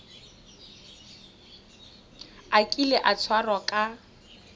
a kile a tshwarwa ka